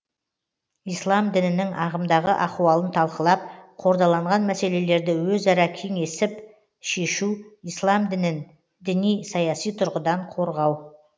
ислам дінінің ағымдағы ахуалын талқылап қордаланған мәселелерді өзара кеңесіл шешу ислам дінін діни саяси тұрғыдан қорғау